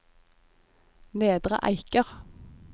Nedre Eiker